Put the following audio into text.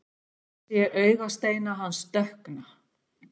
Ég sé augasteina hans dökkna.